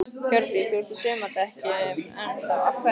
Hjördís: Þú ert á sumardekkjunum enn þá, af hverju?